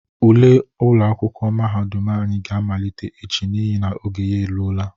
Ule akwụkwọ mahadum anyị ga amalite echi n'ihi na oge ya eluola.